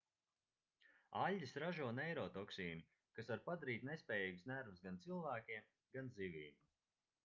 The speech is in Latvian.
aļģes ražo neirotoksīnu kas var padarīt nespējīgus nervus gan cilvēkiem gan zivīm